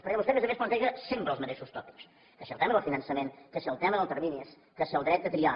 perquè vostè a més a més planteja sempre els mateixos tòpics que si el tema del finançament que si el tema dels terminis que si el dret de triar